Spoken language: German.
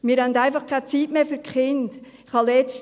Wir haben einfach keine Zeit mehr für die Kinder.